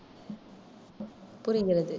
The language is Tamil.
புரிகிறது.